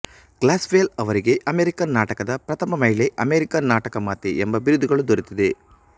Glaspell ಅವರಿಗೆ American ನಾಟಕದ ಪ್ರಥಮ ಮಹಿಳೆ ಅಮೆರಿಕನ್ ನಾಟಕ ಮಾತೆ ಎಂಬ ಬಿರಿದುಗಳು ದೊರೆತ್ತಿದೆ